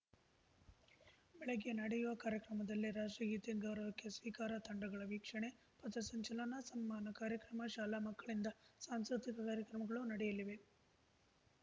ಬೆಳಗ್ಗೆ ನಡೆಯುವ ಕಾರ್ಯಕ್ರಮದಲ್ಲಿ ರಾಷ್ಟ್ರಗೀತೆ ಗೌರವಕ್ಕೆ ಸ್ವೀಕಾರ ತಂಡಗಳ ವೀಕ್ಷಣೆ ಪಥಸಂಚಲನ ಸನ್ಮಾನ ಕಾರ್ಯಕ್ರಮ ಶಾಲಾ ಮಕ್ಕಳಿಂದ ಸಾಂಸ್ಕೃತಿಕ ಕಾರ್ಯಕ್ರಮಗಳು ನಡೆಯಲಿವೆ